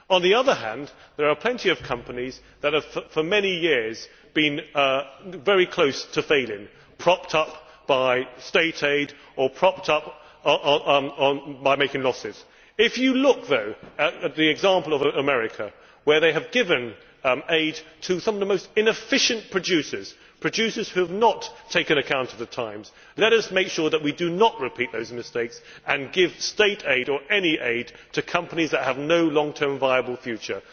On the other hand, there are plenty of companies that have for many years been very close to failing, propped up by state aid or making losses. Looking at the example of America, where they have given aid to some of the most inefficient producers, producers who have not taken account of the times, let us make sure that we do not repeat those mistakes and give state aid or any aid to companies that have no long term viable future.